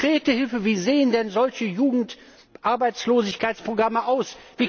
Konkrete Hilfen Wie sehen denn solche Jugendarbeitslosigkeitsprogramme aus?